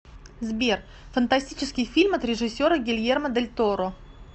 сбер фантастический фильм от режиссера гельермо дель торро